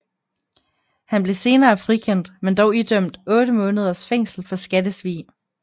Han blev senere frikendt men dog idømt 8 måneders fængsel for skattesvig